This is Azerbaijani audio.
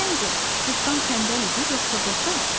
Səncə, cırtdan tənbəl idi, yoxsa qoçaq?